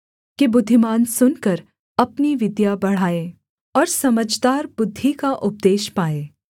कि बुद्धिमान सुनकर अपनी विद्या बढ़ाए और समझदार बुद्धि का उपदेश पाए